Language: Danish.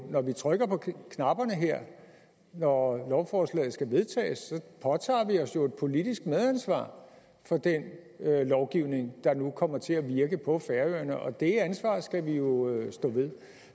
når vi trykker på knapperne her når lovforslaget skal vedtages så påtager vi os jo et politisk medansvar for den lovgivning der nu kommer til at virke på færøerne og det ansvar skal vi jo stå ved